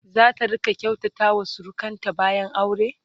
zata rinƙa kyautata wa surukanta bayan aure?